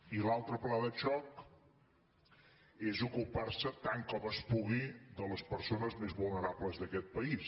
i l’altre pla de xoc és ocupar se tant com es pugui de les persones més vulnerables d’aquest país